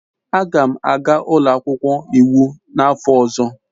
Aga m aga ụlọ akwụkwọ iwu n'afọ ọzọ.